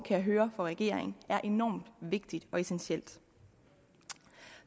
jeg høre for regeringen er enormt vigtigt og essentielt